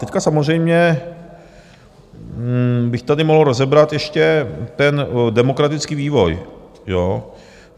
Teď samozřejmě bych tady mohl rozebrat ještě ten demografický vývoj.